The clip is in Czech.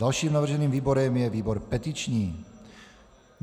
Dalším navrženým výborem je výbor petiční.